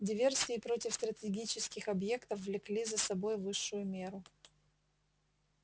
диверсии против стратегических объектов влекли за собой высшую меру